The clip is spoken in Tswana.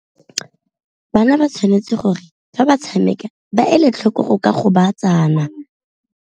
Bana ba tshwanetse gore fa ba tshameka ba ele tlhoko go ka gobatsana.